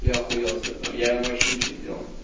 я охуел с этого я ему вообще ничего не делал